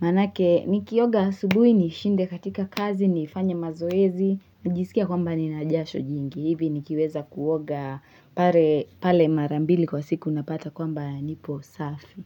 Maanake nikioga asubuhi nishinde katika kazi niifanye mazoezi najisikia kwamba nina jasho jingi. Hivi nikiweza kuoga pale mara mbili kwa siku napata kwamba nipo safi.